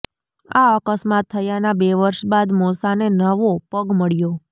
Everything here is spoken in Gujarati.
આ અકસ્માત થયાના બે વર્ષ બાદ મોશાને નવો પગ મળ્યો